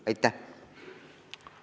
Aitäh!